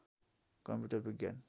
computer विज्ञान